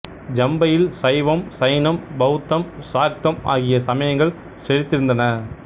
ஜம்பையில் சைவம் சைனம் பௌத்தம் சாக்தம் ஆகிய சமயங்கள் செழித்திருந்தன